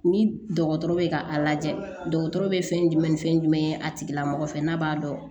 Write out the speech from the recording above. Ni dɔgɔtɔrɔ bɛ ka a lajɛ dɔgɔtɔrɔ bɛ fɛn jumɛn ni fɛn jumɛn ye a tigilamɔgɔ fɛ n'a b'a dɔn